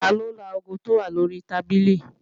Taló laago tó wà lórí tábìlì?